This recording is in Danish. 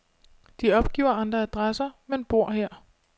De opgiver andre adresser, men bor her.